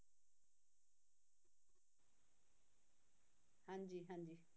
ਹਾਂਜੀ ਹਾਂਜੀ